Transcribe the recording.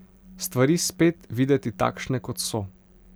Stvari spet videti takšne, kot so.